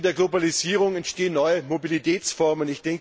Im Zuge der Globalisierung entstehen neue Mobilitätsformen.